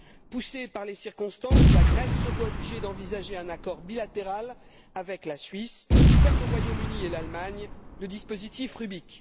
Poussée par les circonstances, la Grèce se voit obligée d'envisager un accord bilatéral avec la Suisse, comme le Royaume Uni et l'Allemagne avec les accords Rubik.